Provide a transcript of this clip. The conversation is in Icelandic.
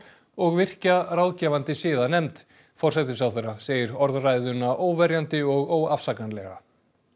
og virkja ráðgefandi siðanefnd forsætisráðherra segir orðræðuna óverjandi og óafsakanlega